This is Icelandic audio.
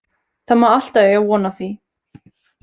Það má alltaf eiga von á því.